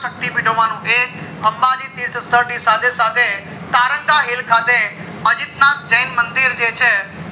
સકતી બડો વાનું એક અંબાજી તીર્થ સાથે સાથે તારંગા hill ખાતે અજીતનાથ જે જૈન મંદિર જે છે